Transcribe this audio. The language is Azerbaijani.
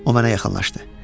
O mənə yaxınlaşdı.